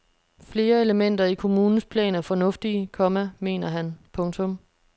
Flere elementer i kommunens plan er fornuftige, komma mener han. punktum